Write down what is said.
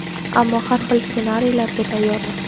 ammo har xil ssenariylarga tayyormiz.